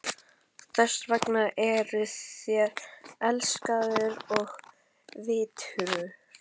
Þess vegna eruð þér elskaður og virtur.